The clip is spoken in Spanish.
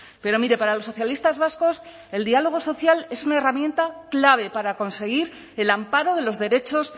pero mire para los socialistas vascos el diálogo social es una herramienta clave para conseguir el amparo de los derechos